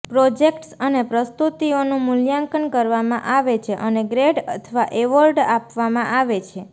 projects અને પ્રસ્તુતિઓનું મૂલ્યાંકન કરવામાં આવે છે અને ગ્રેડ અથવા એવોર્ડ આપવામાં આવે છે